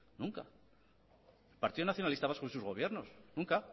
nunca partido nacionalista vasco y sus gobiernos nunca